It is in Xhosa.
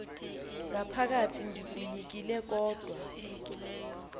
ngaphakathi ndikunyekile kodwa